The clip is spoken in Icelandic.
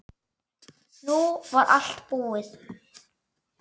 Nú var allt búið.